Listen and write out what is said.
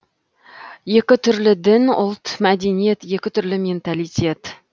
екі түрлі дін ұлт мәдениет екі түрлі менталитет